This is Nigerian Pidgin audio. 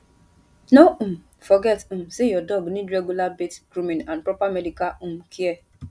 no um forget um say your dog need regular bath grooming and proper medical um care